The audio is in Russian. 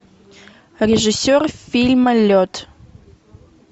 режиссер фильма лед